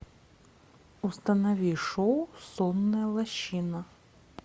установи шоу сонная лощина